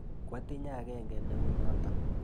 Kwatinye akenge ne u notok.